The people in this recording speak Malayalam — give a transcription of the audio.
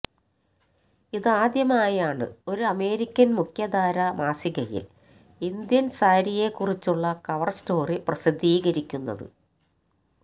ഇതാദ്യമായാണ് ഒരു അമേരിക്കൻ മുഖ്യധാരാ മാസികയിൽ ഇന്ത്യൻ സാരിയെക്കുറിച്ചുള്ള കവർ സ്റ്റോറി പ്രസിദ്ധീകരിക്കുന്നത്